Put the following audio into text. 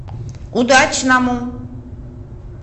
удачному